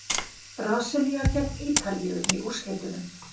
Brasilía gegn Ítalíu í úrslitunum?